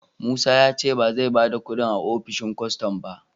Musa ya ce ba zai ba da kudin a opishin kwastam ba